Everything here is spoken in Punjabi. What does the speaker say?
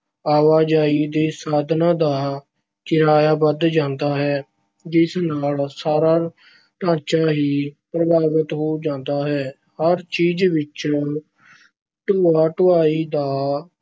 ਆਵਾਜਾਈ ਦੇ ਸਾਧਨਾਂ ਦਾ ਕਿਰਾਇਆ ਵਧ ਜਾਂਦਾ ਹੈ ਜਿਸ ਨਾਲ ਸਾਰਾ ਢਾਂਚਾ ਹੀ ਪ੍ਰਭਾਵਤ ਹੋ ਜਾਂਦਾ ਹੈ। ਹਰ ਚੀਜ਼ ਵਿੱਚ ਢੋਆ-ਢੁਆਈ ਦਾ